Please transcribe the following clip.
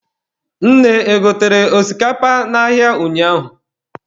Nne e gotere osikapa n'ahịa ụnyaahụ?